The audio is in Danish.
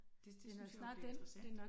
Det det synes jeg jo bliver interessant